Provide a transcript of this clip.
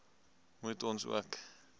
moet ons ook